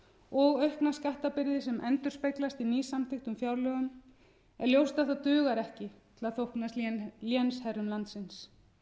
og aukna skattbyrði sem endurspeglast í nýsamþykktum fjárlögum er ljóst að það dugar ekki til að þóknast lénsherrum landsins